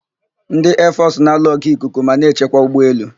Ndị eefọsụ na alụ ọgụ ikuku ma na-echekwa ụgbọ elu.